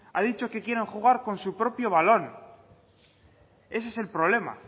ha dicho que quieren jugar con su propio balón ese es el problema